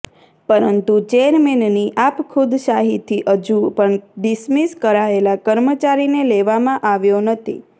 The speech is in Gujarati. પરંતું ચેરમેનની આપખુદશાહીથી હજુ પણ ડિસમીસ કરાયેલા કર્મચારીને લેવામાં આવ્યો નથી